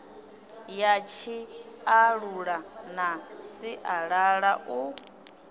ya tshiṱalula na sialala u